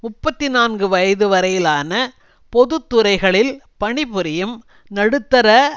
முப்பத்தி நான்கு வயது வரையிலான பொது துறைகளில் பணிபுரியும் நடுத்தர